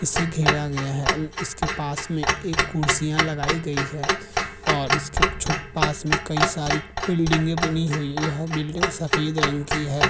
इसे घेरा गया है अल पास में एक कुर्सियां लगाई गई हैं और इसके छुट पास में कई सारी बिल्डिंगे बनी हुई है और बिल्डिंग सफेद रंग की है।